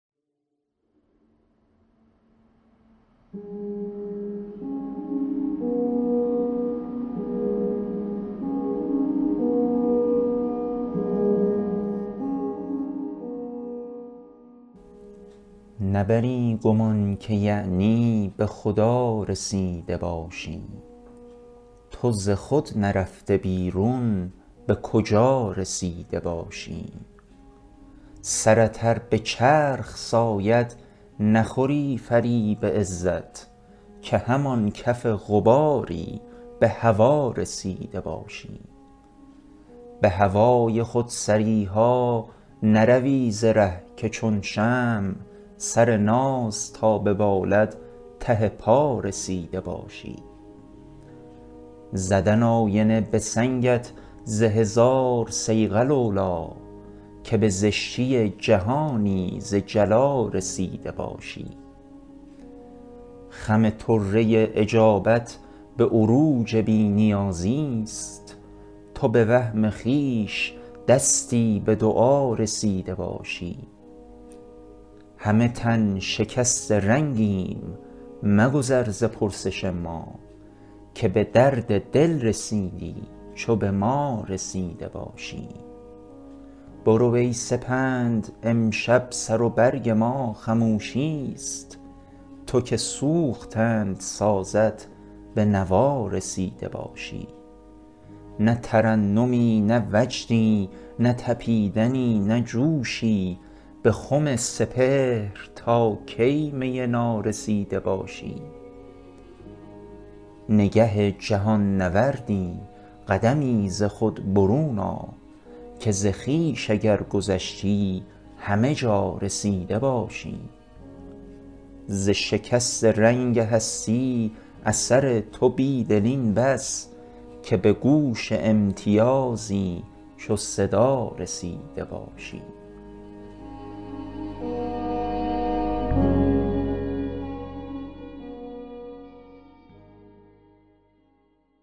نبری گمان که یعنی به خدا رسیده باشی تو ز خود نرفته بیرون به کجا رسیده باشی سرت ار به چرخ ساید نخوری فریب عزت که همان کف غباری به هوا رسیده باشی به هوای خودسری ها نروی ز ره که چون شمع سر ناز تا ببالد ته پا رسیده باشی زدن آینه به سنگت ز هزار صیقل اولی که به زشتی جهانی ز جلا رسیده باشی خم طره اجابت به عروج بی نیازی ست تو به وهم خویش دستی به دعا رسیده باشی همه تن شکست رنگیم مگذر ز پرسش ما که به درد دل رسیدی چو به ما رسیده باشی برو ای سپند امشب سر و برگ ما خموشی ست تو که سوختند سازت به نوا رسیده باشی نه ترنمی نه وجدی نه تپیدنی نه جوشی به خم سپهر تا کی می نارسیده باشی نگه جهان نوردی قدمی ز خود برون آ که ز خویش اگر گذشتی همه جا رسیده باشی ز شکست رنگ هستی اثر تو بیدل این بس که به گوش امتیازی چو صدا رسیده باشی